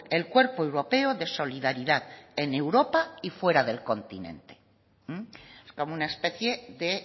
el cuerpo europeo de solidaridad en europa y fuera del continente es como una especie de